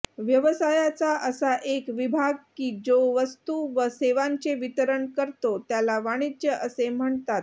व्यवसायाचा असा एक विभाग कि जो वस्तू व सेवांचे वितरण करतो त्याला वाणिज्य असे म्हणतात